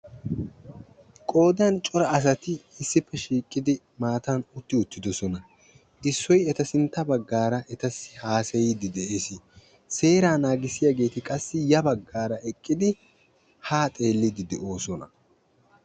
Qoodan cora asati issippe shiiqodi maatatm utti uttidooosna. Issoy eta sintta baggaara etayyo haassayide de'ees. Seeraa naagissiyaageti qassi ya baggaara eqqid ha xeellidede'oosona.